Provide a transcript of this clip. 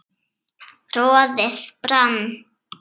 roðið brann